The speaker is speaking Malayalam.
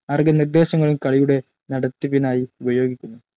മാർഗനിർദ്ദേശങ്ങളും കളിയുടെ നടത്തിപ്പിനായി ഉപയോഗിക്കുന്നു.